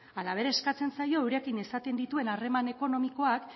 halaber eskatzen zaio eurekin izaten dituen harreman ekonomikoak